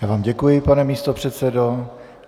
Já vám děkuji, pane místopředsedo.